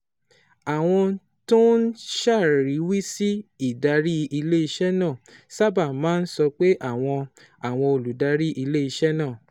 Àwọn tó ń ṣàríwísí ìdarí ilé-iṣẹ́ náà sábà máa ń sọ pé àwọn àwọn olùdarí ilé-iṣẹ́ náà